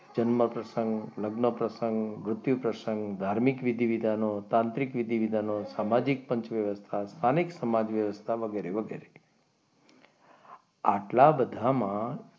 જન્મ પ્રસંગ લગ્ન પ્રસંગ વૃદ્ધિ પ્રસંગ ધાર્મિક વિધિ વિધાનો તાંત્રિક વિધાનો સામાજિક પંચવ્યવસ્થા અનેક સમાજ વ્યવસ્થા વગેરે વગેરે. આટલા બધામાં,